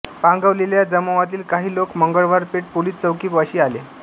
पांगवलेल्या जमावातील काही लोक मंगळवार पेठ पोलीस चौकीपाशी आले